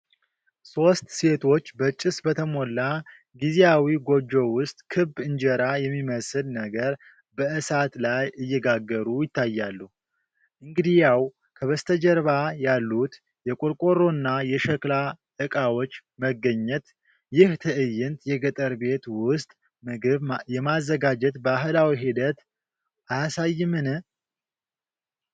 ሦስት ሴቶች በጭስ በተሞላ ጊዜያዊ ጎጆ ውስጥ ክብ እንጀራ የሚመስል ነገር በእሳት ላይ እየጋገሩ ይታያሉ፤ እንግዲያው፣ ከበስተጀርባ ያሉት የቆርቆሮና የሸክላ ዕቃዎች መገኘት፣ ይህ ትዕይንት የገጠር ቤት ውስጥ ምግብ የማዘጋጀት ባህላዊ ሂደት አያሳይምን?